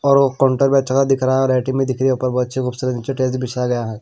और वो काउंटर भी अच्छा सा दिख रहा है और लाइटिंग भी दिख रही है ऊपर बहुत अच्छी खूबसूरत निचे टाइल्स बिछाया गया है।